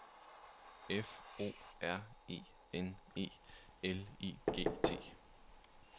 F O R E N E L I G T